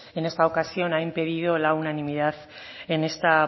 en esta ocasión ha impedido la unanimidad en esta